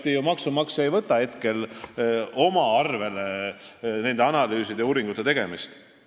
Teatavasti maksumaksja ei võta nende analüüside ja uuringute tegemist enda peale.